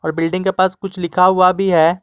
Building के पास कुछ लिखा हुआ भी है।